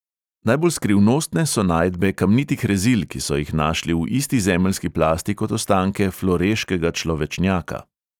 Najbolj skrivnostne so najdbe kamnitih rezil, ki so jih našli v isti zemeljski plasti kot ostanke floreškega človečnjaka.